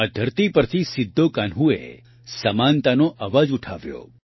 આ ધરતી પરથી સિદ્ધોકાન્હૂ એ સમાનતાનો અવાજ ઉઠાવ્યો